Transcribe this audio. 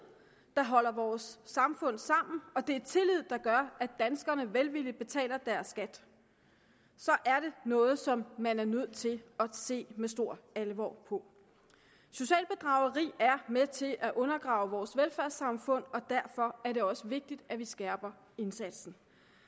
der holder vores samfund sammen og det er tillid der gør at danskerne velvilligt betaler deres skat er det noget som man er nødt til at se med stor alvor på socialt bedrageri er med til at undergrave vores velfærdssamfund og derfor er det også vigtigt at vi skærper indsatsen